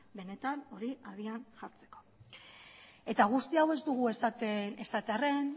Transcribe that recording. benetan hori abian jartzeko eta guzti hau ez dugu esaten esatearren